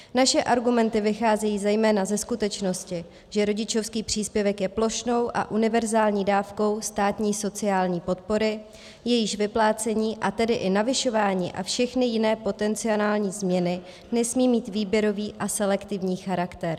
Naše argumenty vycházejí zejména ze skutečnosti, že rodičovský příspěvek je plošnou a univerzální dávkou státní sociální podpory, jejíž vyplácení, a tedy i navyšování a všechny jiné potenciální změny nesmí mít výběrový a selektivní charakter.